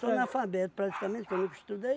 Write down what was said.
analfabeto, praticamente, que eu nunca estudei.